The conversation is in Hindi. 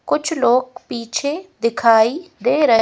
कुछ लोग पीछे दिखाई दे रहे--